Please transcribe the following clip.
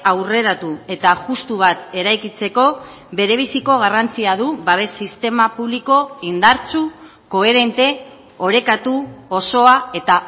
aurreratu eta justu bat eraikitzeko berebiziko garrantzia du babes sistema publiko indartsu koherente orekatu osoa eta